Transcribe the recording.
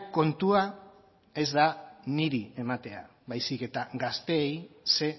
kontua ez da niri ematea baizik eta gazteei ze